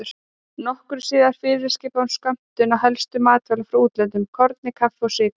Nokkru síðar fyrirskipaði hún skömmtun á helstu matvælum frá útlöndum: korni, kaffi og sykri.